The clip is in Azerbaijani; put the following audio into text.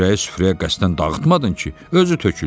Xörəyi süfrəyə qəsdən dağıtmadın ki, özü töküldü.